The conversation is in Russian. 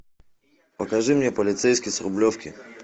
покажи мне полицейский с рублевки